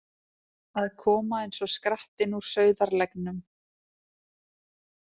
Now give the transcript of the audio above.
Að koma eins og skrattinn úr sauðarleggnum